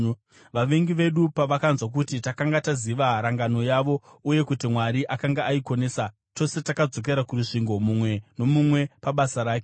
Vavengi vedu pavakanzwa kuti takanga taziva rangano yavo uye kuti Mwari akanga aikonesa, tose takadzokera kurusvingo, mumwe nomumwe pabasa rake.